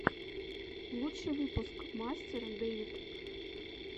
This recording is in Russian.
лучший выпуск мастер дэвид